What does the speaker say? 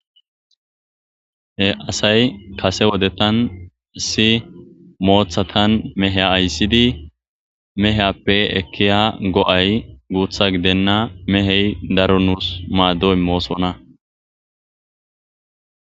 he asay kase wodetan isi moothatan meheya ayssidi meheyappe ekki ha go7ay guutha gidenna mehey daro nuus maaddoy moosona